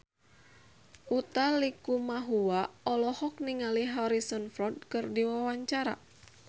Utha Likumahua olohok ningali Harrison Ford keur diwawancara